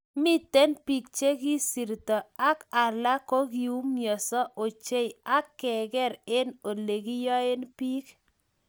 Miten biik chegisirto, ak alak koumianso ochei ak keger eng oleginyoen biik